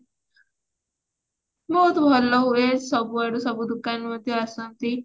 ବହୁତ ଭଲ ହୁଏ ସବୁ ଆଡୁ ସବୁ ଦୋକାନୀ ମଧ୍ୟ ଆସନ୍ତି